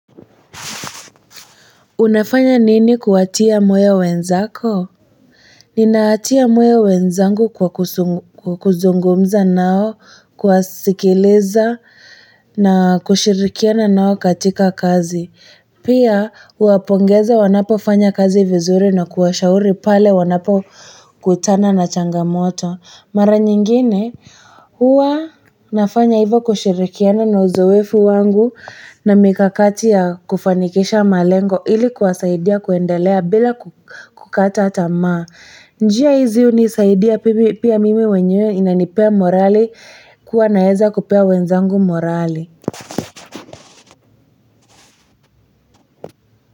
Unafanya nini kuwatia moyo wenzako? Ninawatia moyo wenzangu kwa kuzungumza nao kuwasikiliza na kushirikiana nao katika kazi. Pia, kuwapongeza wanapo fanya kazi vizuri na kuwashauri pale wanapokutana na changamoto. Mara nyingine huwa nafanya hivyo kushirikiana na uzoefu wangu na mikakati ya kufanikisha malengo ili kuwasaidia kuendelea bila kukata tamaa. Njia hizi hunisaidia pia mimi mwenyewe inanipea morali kuwa naweza kupea wenzangu morali.